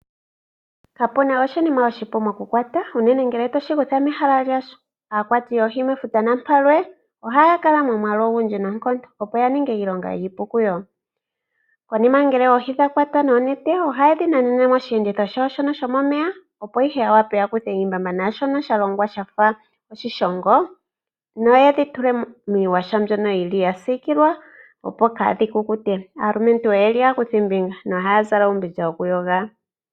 Kapu na oshinima oshipu mokukwata, unene ngele toshi kutha mehala lyasho. Aakwati yoohi mefuta napalwe ohaya kala momwaalu ogundji noonkondo, opo ya ninge iilonga iipu kuyo. Konima oohi ngele dha kwatwa noonete ohaye dhi nanene mosheenditho shawo shono shomomeya, opo ihe ya wape ya kuthe iimbamba naashono sha longwa sha fa oshishongo noye dhi tule miiyaha mbyono hayi siikilwa, opo kaadhi kukute. Aalumentu oyo aakuthimbinga nohaya zala uumbindja wokuyoga.